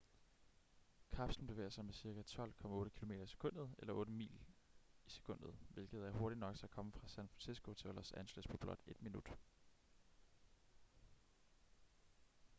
kapslen bevæger sig med cirka 12,8 km i sekundet eller 8 mil i sekundet hvilket er hurtigt nok til at komme fra san francisco til los angeles på blot ét minut